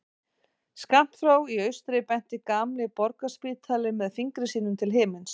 Skammt frá í austri benti gamli Borgarspítalinn með fingri sínum til himins.